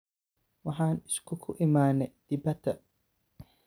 Waxan iskuku iimane dipada.